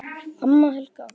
Amma Helga.